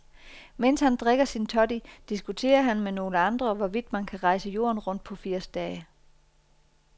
Mens han drikker sin toddy, diskuterer han med nogle andre, hvorvidt man kan rejse jorden rundt på firs dage.